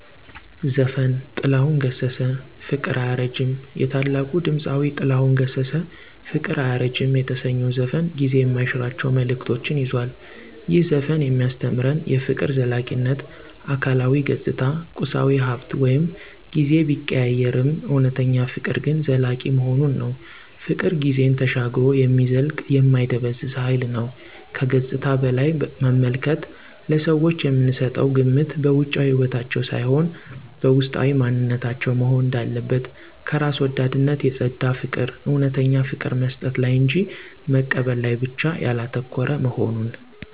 ዘፈን - ጥላሁን ገሠሠ - 'ፍቅር አያረጅም' የታላቁ ድምፃዊ ጥላሁን ገሠሠ “ፍቅር አያረጅም” የተሰኘው ዘፈን ጊዜ የማይሽራቸው መልዕክቶችን ይዟል። ይህ ዘፈን የሚያስተምረን -* የፍቅር ዘላቂነት: አካላዊ ገጽታ፣ ቁሳዊ ሃብት ወይም ጊዜ ቢቀያየርም፣ እውነተኛ ፍቅር ግን ዘላቂ መሆኑን ነው። ፍቅር ጊዜን ተሻግሮ የሚዘልቅ የማይደበዝዝ ሃይል ነው። * ከገጽታ በላይ መመልከት: ለሰዎች የምንሰጠው ግምት በውጫዊ ውበታቸው ሳይሆን፣ በውስጣዊ ማንነታቸው መሆን እንዳለበት። * ከራስ ወዳድነት የፀዳ ፍቅር: እውነተኛ ፍቅር መስጠት ላይ እንጂ መቀበል ላይ ብቻ ያላተኮረ መሆኑን።